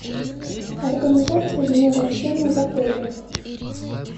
организация дня рождения в отеле